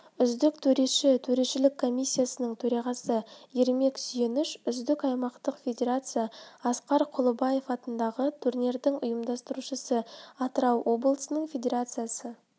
үздік төреші төрешілік комиссиясының төрағасы ермек сүйеніш үздік аймақтық федерация асқар құлыбаев атындағы турнирдің ұйымдастырушысы атырау облысының федерациясы